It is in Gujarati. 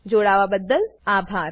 જોડાવાબદ્દલ આભાર